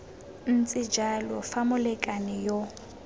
ntse jalo fa molekane yo